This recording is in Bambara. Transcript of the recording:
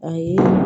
Ayi